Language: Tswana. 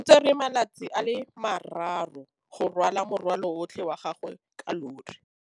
O tsere malatsi a le marraro go rwala morwalo otlhe wa gagwe ka llori.